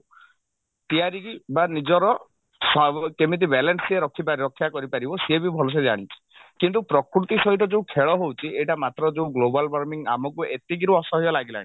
କି ବା ନିଜର ସ୍ଵା କେମିତି balance ସେ ରଖି ରକ୍ଷା କରିପାରିବ ସିଏ ବି ଭଲସେ ଜାଣିଛି କିନ୍ତୁ ପ୍ରକୃତି ସହିତ ଯଉ ଖେଳ ହଉଛି ଏଇଟା ମାତ୍ର ଯଉ global warming ଆମକୁ ଏତିକିରୁ ଅସହ୍ୟ ଲାଗିଲାଣି